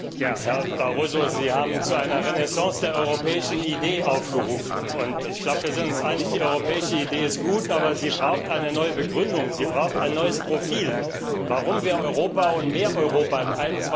Herr Präsident! Herr Barroso, Sie haben zu einer Renaissance der europäischen Idee aufgerufen. Ich glaube, wir sind uns einig Die europäische Idee ist gut, aber sie braucht eine neue Begründung, sie braucht ein neues Profil, warum wir Europa und mehr Europa im